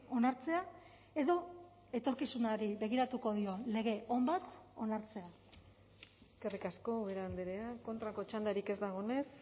onartzea edo etorkizunari begiratuko dion lege on bat onartzea eskerrik asko ubera andrea kontrako txandarik ez dagoenez